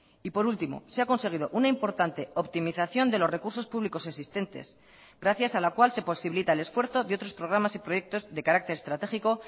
y por último se ha conseguido una importante optimización de los recursos públicos existentes gracias a la cual se posibilita el esfuerzo de otros programas y proyectos de carácter estratégico